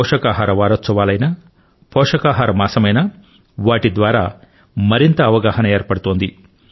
పోషకాహార వారోత్సవాలైనా పోషకాహార మాసమైనా వాటి ద్వారా మరింత అవగాహన ఏర్పడుతోంది